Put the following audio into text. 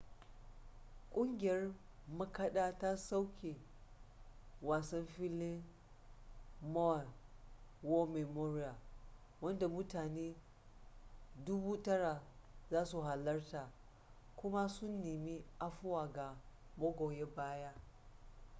ƙungiyar makaɗa ta soke wasan filin maui war memorial wanda mutane 9,000 za su halarta kuma sun nemi afuwa ga magoya baya